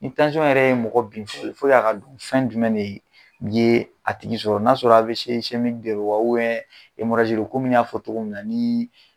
Ni yɛrɛ ye mɔgɔ bin fo a ka d fɛn jumɛn de yee a tigi sɔrɔ n'a sɔrɔ de do wa komi n y'a fɔ togo min na nii